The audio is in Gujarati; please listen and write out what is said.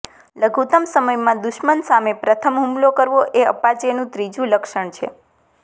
લઘુતમ સમયમાં દુશ્મન સામે પ્રથમ હુમલો કરવો એ અપાચેનું ત્રીજું લક્ષણ છે